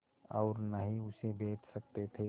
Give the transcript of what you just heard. और न ही उसे बेच सकते थे